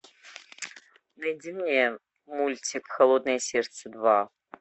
найди мне мультик холодное сердце два